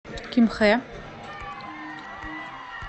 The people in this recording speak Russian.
кимхэ